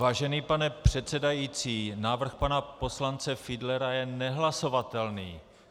Vážený pane předsedající, návrh pana poslance Fiedlera je nehlasovatelný.